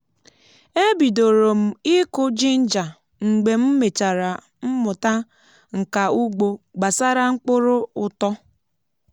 e bidòrò m ịkụ jinja mgbe m mechara mmụta nka ugbo gbasara mkpụrụ ụtọ